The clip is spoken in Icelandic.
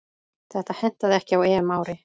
Þetta hentaði ekki á EM-ári.